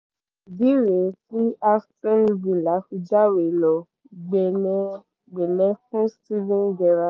ìdí rèé tí aston villa fi jáwé ló gbélé ẹ̀ gbẹ̀lẹ́ fún steven gerrard